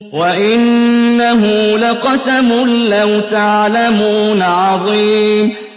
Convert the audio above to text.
وَإِنَّهُ لَقَسَمٌ لَّوْ تَعْلَمُونَ عَظِيمٌ